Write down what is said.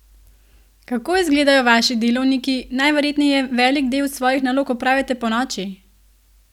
Kako izgledajo vaši delovniki, najverjetneje velik del svojih nalog opravite ponoči?